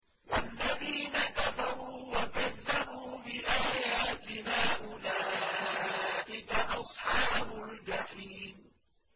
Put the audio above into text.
وَالَّذِينَ كَفَرُوا وَكَذَّبُوا بِآيَاتِنَا أُولَٰئِكَ أَصْحَابُ الْجَحِيمِ